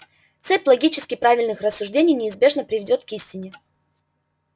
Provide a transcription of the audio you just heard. цепь логически правильных рассуждений неизбежно приведёт к истине